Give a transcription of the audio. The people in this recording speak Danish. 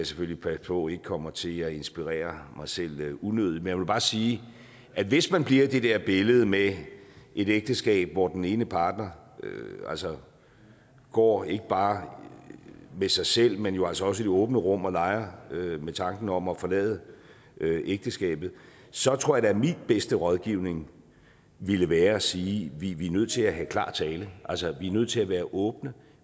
selvfølgelig passe på ikke kommer til at inspirere mig selv unødigt men jeg vil bare sige at hvis man bliver i det der billede med et ægteskab hvor den ene partner går rundt ikke bare med sig selv men jo altså også i det åbne rum og leger med tanken om at forlade ægteskabet så tror jeg da at min bedste rådgivning ville være at sige vi er nødt til at have klar tale vi er nødt til at være åbne